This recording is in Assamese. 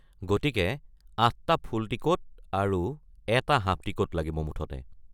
গতিকে, ৮টা ফুল টিকট আৰু এটা হাফ টিকট লাগিব মুঠতে।